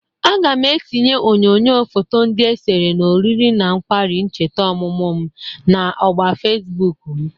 Aga m etinye onyoyo foto ndị esere na oriri na nkwari ncheta oMụMụ m na ogba Fesbụk m.